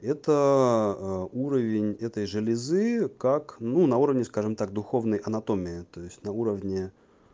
это ээ уровень этой железы как на уровне скажем так духовной анатомии то есть на уровне